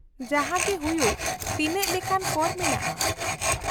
-ᱡᱟᱦᱟᱸᱜᱮ ᱦᱩᱭᱩᱜ, ᱛᱤᱱᱟᱹᱜ ᱞᱮᱠᱟᱱ ᱠᱚᱨ ᱢᱮᱱᱟᱜᱼᱟ ?